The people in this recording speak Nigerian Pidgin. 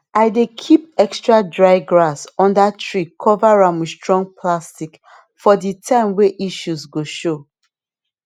i dey keep extra dry grass under tree cover am with strong plastic for the time way issues go show